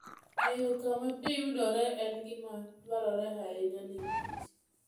Ng'eyo kama pi yudore en gima dwarore ahinya ne kich